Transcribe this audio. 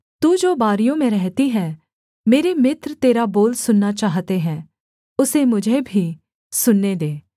तू जो बारियों में रहती है मेरे मित्र तेरा बोल सुनना चाहते हैं उसे मुझे भी सुनने दे